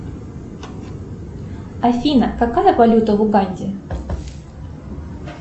афина какая валюта в уганде